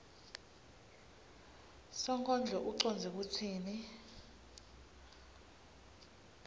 sonkondlo ucondze kutsini